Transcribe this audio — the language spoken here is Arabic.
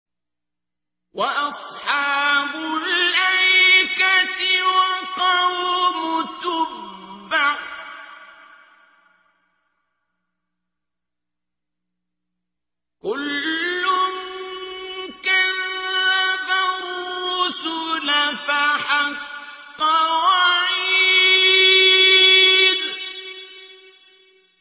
وَأَصْحَابُ الْأَيْكَةِ وَقَوْمُ تُبَّعٍ ۚ كُلٌّ كَذَّبَ الرُّسُلَ فَحَقَّ وَعِيدِ